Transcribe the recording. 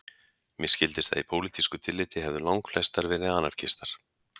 Mér skildist að í pólitísku tilliti hefðu langflestar verið anarkistar